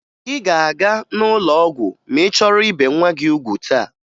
Ị ga-aga n'ụlọ ọgwụ ma ị chọrọ ibe nwa gị ugwu taa